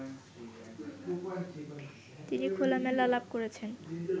তিনি খোলামেলা আলাপ করেছেন